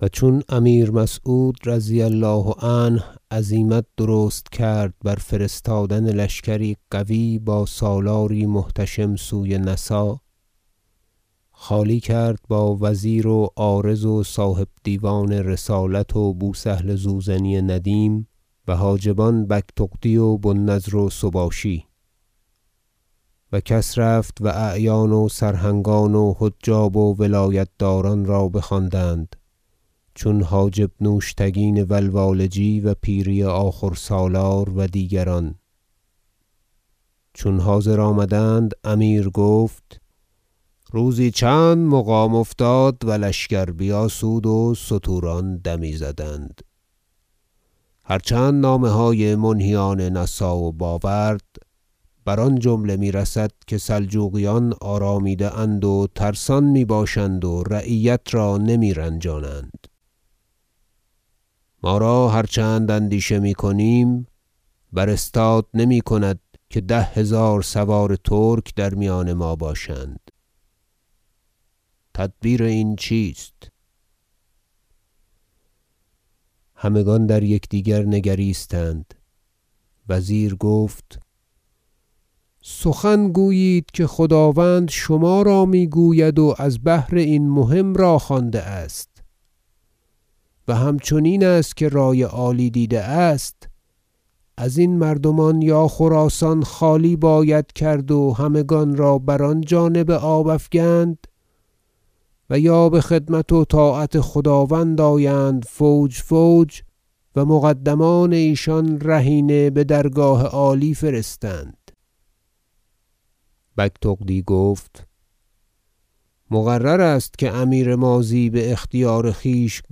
و چون امیر مسعود رضی الله عنه عزیمت درست کرد بر فرستادن لشکری قوی با سالاری محتشم سوی نسا خالی کرد با وزیر و عارض و صاحب دیوان رسالت و بوسهل زوزنی ندیم و حاجبان بگتغدی و بوالنضر و سباشی و کس رفت و اعیان و سرهنگان و حجاب و ولایت داران را بخواندند چون حاجب نوشتگین و لوالجی و پیری آخور سالار و دیگران چون حاضر آمدند امیر گفت روزی چند مقام افتاد و لشکر بیاسود و ستوران دمی زدند هر چند نامه های منهیان نسا و باورد بر آن جمله میرسد که سلجوقیان آرامیده اند و ترسان میباشند و رعیت را نمیرنجانند ما را هر چند اندیشه میکنیم بر استاد نمیکند که ده هزار سوار ترک در میان ما باشند تدبیر این چیست همگان در یکدیگر نگریستند وزیر گفت سخن گویید که خداوند شما را میگوید و از بهر این مهم را خوانده است و همچنین است که رای عالی دیده است ازین مردمان یا خراسان خالی باید کرد و همگان را بر آن جانب آب افگند و یا بخدمت و طاعت خداوند آیند فوج فوج و مقدمان ایشان رهینه بدرگاه عالی فرستند بگتغدی گفت مقرر است که امیر ماضی باختیار خویش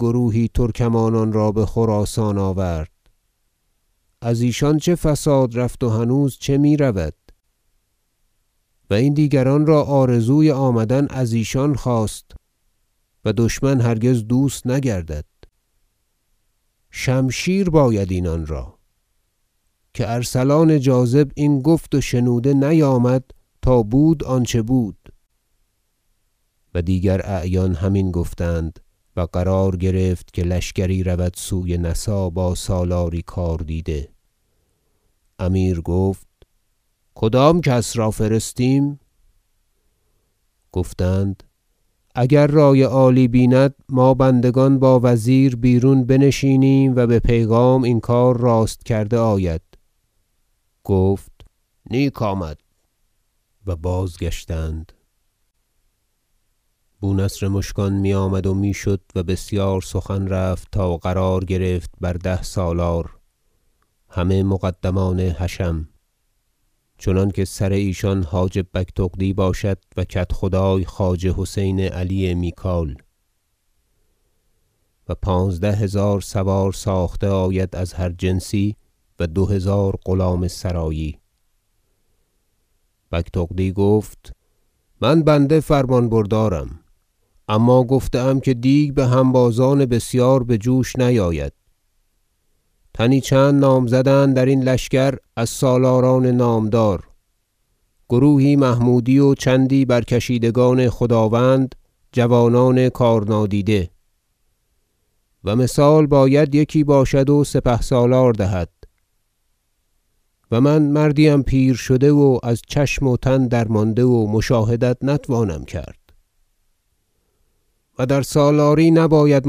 گروهی ترکمانان را بخراسان آورد از ایشان چه فساد رفت و هنوز چه میرود و این دیگران را آرزوی آمدن از ایشان خاست و دشمن هرگز دوست نگردد شمشیر باید اینان را که ارسلان جاذب این گفت و شنوده نیامد تا بود آنچه بود و دیگر اعیان همین گفتند و قرار گرفت که لشکری رود سوی نسا با سالاری کاردیده امیر گفت کدام کس را فرستیم گفتند اگر رای عالی بیند ما بندگان با وزیر بیرون بنشینیم و به پیغام این کار راست کرده آید گفت نیک آمد برگزیدن حاجب بگتغدی بسالاری سپاه و بازگشتند بونصر مشکان میآمد و میشد و بسیار سخن رفت تا قرار گرفت بر ده سالار همه مقدمان حشم چنانکه سر ایشان حاجب بگتغدی باشد و کدخدای خواجه حسین علی میکاییل و پانزده هزار سوار ساخته آید از هر جنسی و دو هزار غلام سرایی بگتغدی گفت من بنده فرمان بردارم اما گفته اند که دیگ بهنبازان بسیار بجوش نیاید تنی چند نامزدند در این لشکر از سالاران نامدار گروهی محمودی و چندی برکشیدگان خداوند جوانان کار نادیده و مثال باید که یکی باشد و سپهسالار دهد و من مردی ام پیر شده و از چشم و تن درمانده و مشاهدت نتوانم کرد و در سالاری نباید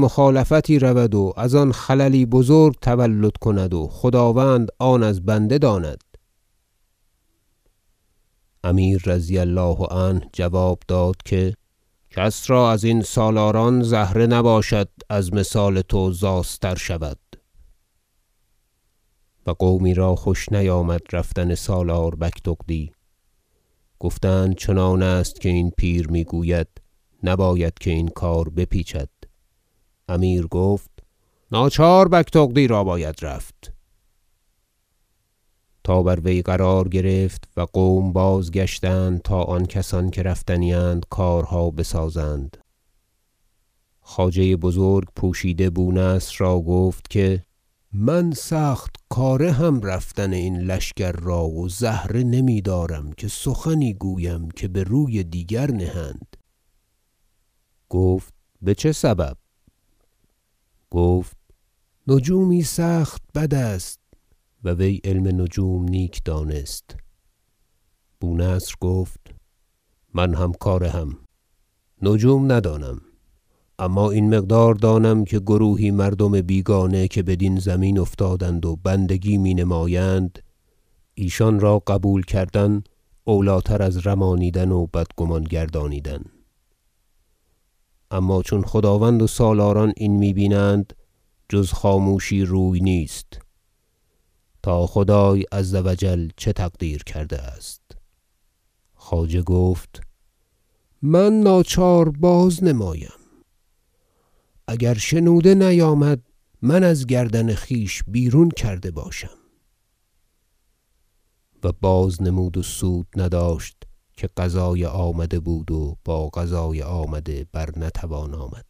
مخالفتی رود و از آن خللی بزرگ تولد کند و خداوند آن از بنده داند امیر رضی الله عنه جواب داد که کس را از این سالاران زهره نباشد که از مثال تو زاستر شود و قومی را خوش نیامد رفتن سالار بگتغدی گفتند چنان است که این پیر میگوید نباید که این کار بپیچد امیر گفت ناچار بگتغدی را باید رفت تا بر وی قرار گرفت و قوم بازگشتند تا آن کسان که رفتنی اند کارها بسازند خواجه بزرگ پوشیده بونصر را گفت که من سخت کاره ام رفتن این لشکر را و زهره نمیدارم که سخنی گویم که به روی دیگر نهند گفت بچه سبب گفت نجومی سخت بد است- و وی علم نجوم نیک دانست- بونصر گفت من هم کاره ام نجوم ندانم اما این مقدار دانم که گروهی مردم بیگانه که بدین زمین افتادند و بندگی می نمایند ایشان را قبول کردن اولی تر از رمانیدن و بدگمان گردانیدن اما چون خداوند و سالاران این می بینند جز خاموشی روی نیست تا خدای عز و جل چه تقدیر کرده است خواجه گفت من ناچار بازنمایم اگر شنوده نیامد من از گردن خویش بیرون کرده باشم و بازنمود و سود نداشت که قضای آمده بود و با قضای آمده بر نتوان آمد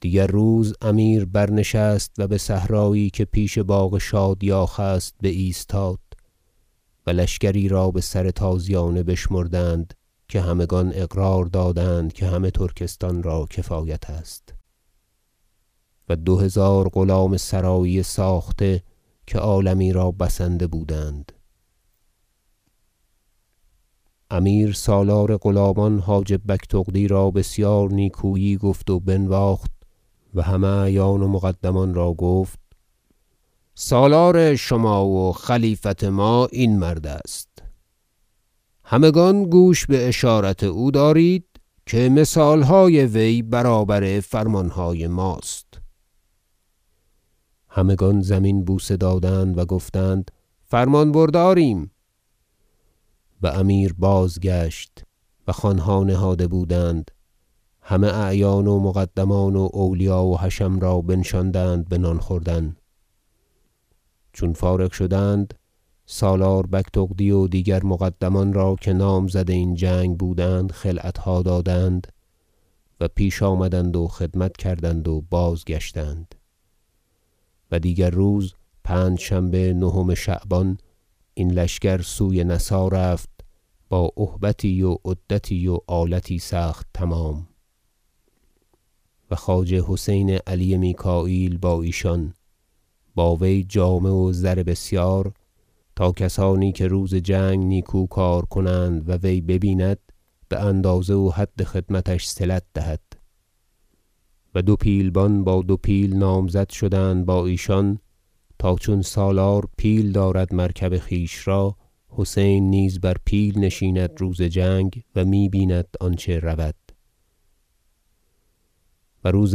دیگر روز امیر برنشست و بصحرایی که پیش باغ شادیاخ است بایستاد و لشکری را بسر تازیانه بشمردند که همگان اقرار دادند که همه ترکستان را کفایت است و دو هزار غلام سرایی ساخته که عالمی را بسنده بودند امیر سالار غلامان حاجب بگتغدی را بسیار نیکویی گفت و بنواخت و همه اعیان و مقدمان را گفت سالار شما و خلیفت ما این مرد است همگان گوش باشارت او دارید که مثالهای وی برابر فرمانهای ماست همگان زمین بوسه دادند و گفتند فرمان برداریم و امیر باز گشت و خوانها نهاده بودند همه اعیان و مقدمان و اولیا و حشم را بنشاندند بنان خوردن چون فارغ شدند سالار بگتغدی و دیگر مقدمان را که نامزد این جنگ بودند خلعتها دادند و پیش آمدند و خدمت کردند و بازگشتند و دیگر روز پنجشنبه نهم شعبان این لشکر سوی نسا رفت با اهبتی و عدتی و آلتی سخت تمام و خواجه حسین علی میکاییل با ایشان با وی جامه و زر بسیار تا کسانی که روز جنگ نیکو کار کنند و وی ببیند باندازه و حد خدمتش صلت دهد و دو پیلبان با دو پیل نامزد شدند با ایشان تا چون سالار پیل دارد مرکب خویش را حسین نیز بر پیل نشیند روز جنگ و می- بیند آنچه رود و روز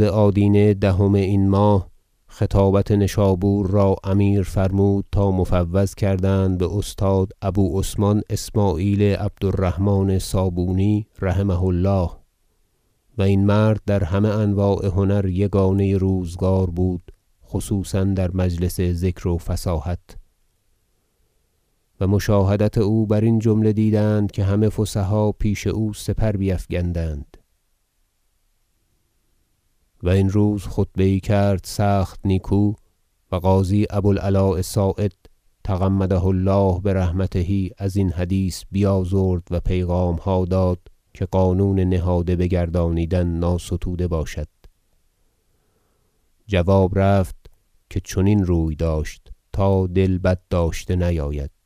آدینه دهم این ماه خطابت نشابور را امیر فرمود تا مفوض کردند باستاد ابو عثمان اسمعیل عبد الرحمن صابونی رحمه الله و این مرد در همه انواع هنر یگانه روزگار بود خصوصا در مجلس ذکر و فصاحت و مشاهدت او برین جمله دیدند که همه فصحا پیش او سپر بیفگندند و این روز خطبه یی کرد سخت نیکو و قاضی ابو- العلاء صاعد تغمده الله برحمته ازین حدیث بیازرد و پیغامها داد که قانون نهاده بگردانیدن ناستوده باشد جواب رفت که چنین روی داشت تا دل بد داشته نیاید